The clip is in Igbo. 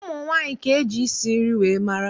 Ụmụ nwaanyị ka eji isi nri wee mara